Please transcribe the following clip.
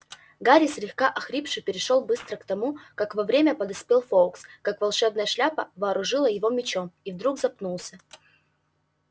гарри слегка охрипший перешёл было к тому как вовремя подоспел фоукс как волшебная шляпа вооружила его мечом и вдруг запнулся